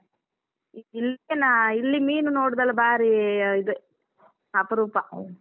ಇಲ್ಲನ ಇಲ್ಲಿ ಮೀನು ನೋಡುದೆಲ್ಲ ಬಾರಿ ಇದು ಅಪರೂಪ.